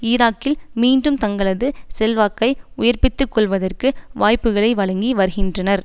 ஈராக்கில் மீண்டும் தங்களது செல்வாக்கை உயிர்பித்துக் கொள்வதற்கு வாய்புக்களை வழங்கி வருகின்றனர்